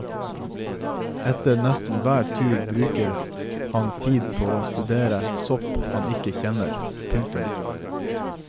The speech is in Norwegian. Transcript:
Etter nesten hver tur bruker han tid på å studere sopp han ikke kjenner. punktum